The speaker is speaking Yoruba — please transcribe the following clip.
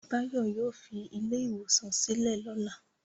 Báyọ̀ yóò fi ilé-ìwòsàn sílẹ̀ lọ́la.